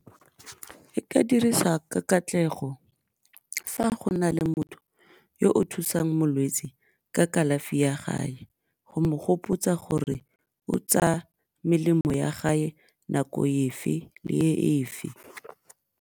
E ka dirisa ka katlego fa go na le motho yo o thusang molwetsi ka kalafi go mo gopotsa gore o tsaya melemo ya nako efe le e efe.